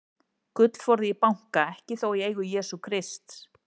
Gullforði í banka, ekki þó í eigu Jesú Krists.